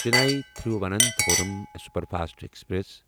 Chennai Thiruvananthapuram superfast express